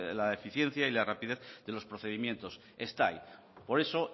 la eficiencia y la rapidez de los procedimientos está ahí por eso